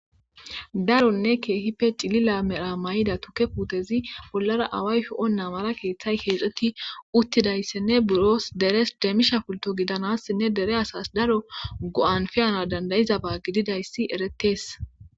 Daronne keehippe cilila mera mayiza tukke puutezi bollara away sho7enna mala keeththa keexeti utidayssinne deres demisha pultto gidanasinne dere asas daro pe7anas danda7izaba gididayssi eretees.